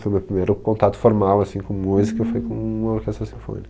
Foi o meu primeiro contato formal assim com música foi com a orquestra sinfônica.